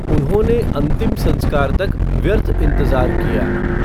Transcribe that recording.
उन्होंने अंतिम संस्कार तक व्यर्थ इंतजार किया।